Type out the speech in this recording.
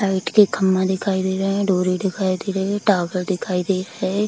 Light के खंभा दिखाई दे रहे है डोरी दिखाई दे रही है टॉवर दिखाई दे रहे है।